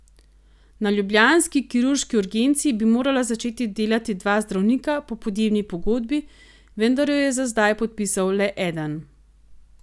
Na ljubljanski kirurški urgenci bi morala začeti delati dva zdravnika po podjemni pogodbi, vendar jo je za zdaj podpisal le eden.